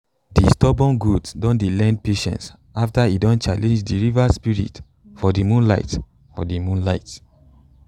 de stubborn goat dey learn patience after e don challenge de river spirit for de moonlight for de moonlight